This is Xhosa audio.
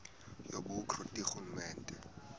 yobukro ti ngurhulumente